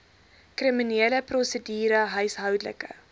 kriminele prosedure huishoudelike